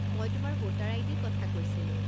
মই তোমাৰ ভোটাৰ আই.ডিৰ কথা কৈছিলোঁ।